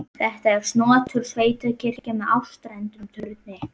Þetta er snotur sveitakirkja með áttstrendum turni.